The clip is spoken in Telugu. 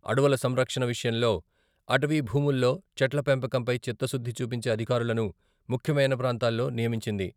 అడవుల సంరక్షణ విషయంలో, అటవీ భూముల్లో చెట్ల పెంపకంపై చిత్తశుద్ధి చూపించే అధికారులను ముఖ్యమైన ప్రాంతాల్లో నియమించింది.